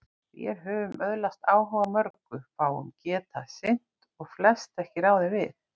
Vér höfum öðlast áhuga á mörgu, fáu getað sinnt og flest ekki ráðið við.